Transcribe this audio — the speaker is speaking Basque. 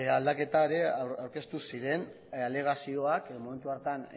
aldaketa ere aurkeztu ziren alegazioak momentu hartan